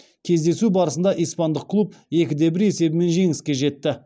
кездесу барысында испандық клуб екі де бір есебімен жеңіске жетті